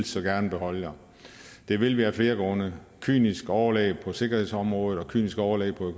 så gerne beholde jer det vil vi af flere grunde et kynisk overlæg på sikkerhedsområdet og et kynisk overlæg på